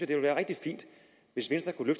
ville være rigtig fint hvis venstre kunne